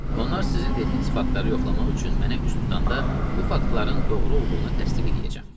Onlar sizin dediyiniz faktları yoxlamaq üçün mənə üst tutanda bu faktların doğru olduğunu təsdiq eləyəcəm.